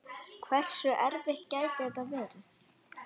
Hversu erfitt gæti þetta verið?